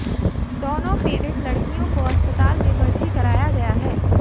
दोनों पीड़ित लड़कियों को अस्पताल में भर्ती कराया गया है